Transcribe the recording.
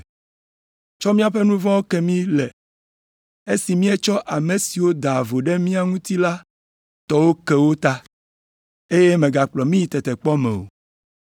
tsɔ mìaƒe nu vɔ̃wo ke mí le, esi míetsɔ ame siwo daa vo ɖe mía ŋuti la tɔwo ke wo ta, eye mègakplɔ mí yi tetekpɔ me o.’ ”